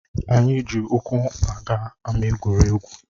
Anyị eji ụkwụ aga ámá egwuregwu